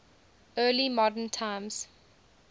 early modern times